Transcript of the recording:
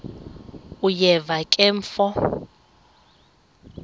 uyeva ke mfo